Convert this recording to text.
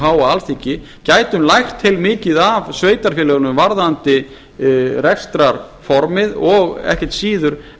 háa alþingi gætum lært heilmikið af sveitarfélögunum varðandi rekstrarformið og ekkert síður